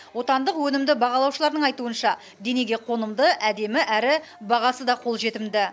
отандық өнімді бағалаушылардың айтуынша денеге қонымды әдемі әрі бағасы да қолжетімді